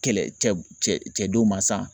Kɛlɛ cɛ cɛ denw ma sa